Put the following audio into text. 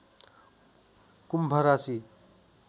कुम्भ राशि